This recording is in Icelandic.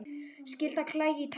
Skyldi hana klæja í tærnar?